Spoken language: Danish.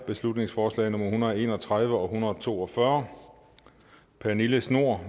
beslutningsforslag nummer hundrede og en og tredive og hundrede og to og fyrre pernille schnoor